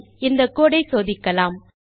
சரி இந்த கோடு ஐ சோதிக்கலாம்